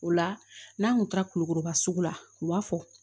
O la n'an kun taara kulukoroba sugu la u b'a fɔ